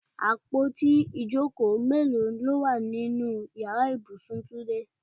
Àpótí ìjókòó mélòó ló wà nínú Ìyàrá ibùsùn túndé?